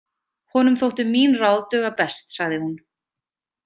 Honum þóttu mín ráð duga best, sagði hún.